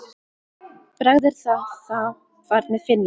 Bragð er að þá barnið finnur!